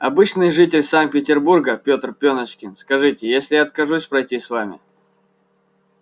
обычный житель санкт-петербурга петр пёночкин скажите а если я откажусь пройти с вами